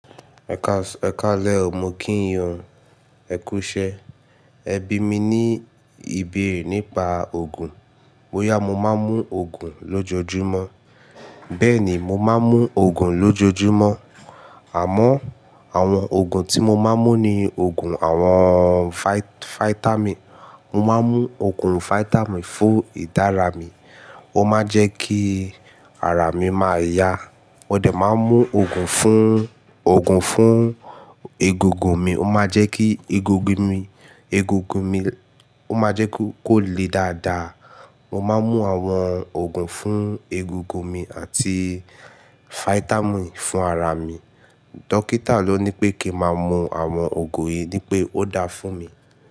Ẹ káalẹ́ o, mo kí yin o ẹ kú iṣẹ́. Ẹ bí mi ní ìbéèrè nípa òògùn. Bóyá mo máa ń mú òògùn lójoojúmọ́. Bẹ́ẹ̀ ni, mo máa ń mú òògùn lójoojúmọ́. Àmọ́ àwọn òògùn tí mo máa ń mú ni òògùn àwọn fáítámì. Mo máa ń mú òògùn fáítámì fún ìdára mi. Ó máa ń jẹ́ kí ara mi máa yá. Mo dẹ̀ máa ń mú òògùn fún, òògùn fún egungun mi. Ó máa ń jẹ́ kí egungun mi, egungun mi, ó máa ń jẹ́ kó le dáadáa. Mo máa ń mú àwọn òògùn fún egungun mi àti fáítámì fún ara mi. Dọ́kítà ló ní pé kí n máa mú àwọn òògùn yìí ní pé ó dáa fún mi.